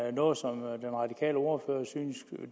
det noget som den radikale ordfører synes